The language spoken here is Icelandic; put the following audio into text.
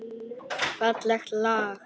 Fallegt lag.